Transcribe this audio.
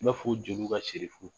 N b'a fɔ jeliw ka sirifu